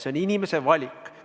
See on inimese valik.